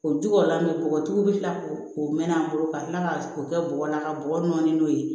O jukɔrɔla min bɔgɔtigi bi kila k'o mɛn an bolo ka kila ka o kɛ bɔgɔ la ka bɔgɔ nɔɔni n'o ye